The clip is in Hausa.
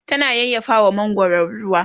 tana yayyafawa mangwaron ruwa